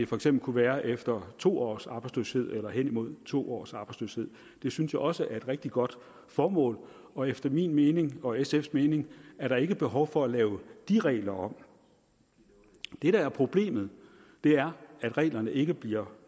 for eksempel kunne være efter to års arbejdsløshed eller hen imod to års arbejdsløshed det synes jeg også er et rigtig godt formål og efter min mening og sfs mening er der ikke behov for at lave de regler om det der er problemet er at reglerne ikke bliver